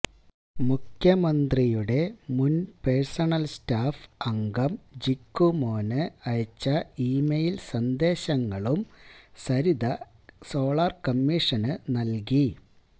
മുഖ്യമന്ത്രിയുടെ മുന് personal staff അംഗം ജിക്കു മോന് അയച്ച ഇ മെയില് സന്ദേശങ്ങളും സരിത സോളാര് കമ്മീഷന് നല്കി